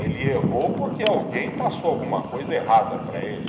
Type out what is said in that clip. Ele errou porque alguém passou alguma coisa errada para ele.